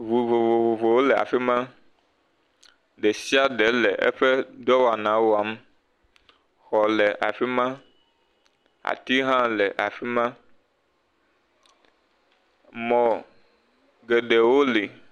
Vovovowo le afi ma, ɖe sia ɖe eƒe dɔwana wam, xɔ le afi ma, ati hã le afi ma, mɔ geɖewo le.